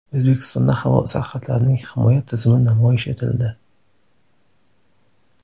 O‘zbekistonda havo sarhadlarining himoya tizimi namoyish etildi.